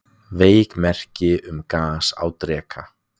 Veik merki um gas á Dreka